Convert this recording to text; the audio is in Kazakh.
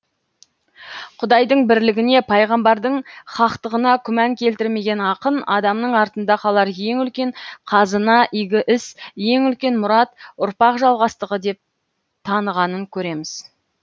құдайдың бірлігіне пайғамбардың хақтығына күмән келтірмеген ақын адамның артында қалар ең үлкен қазына игі іс ең үлкен мұрат ұрпақ жалғастығы деп танығанын көреміз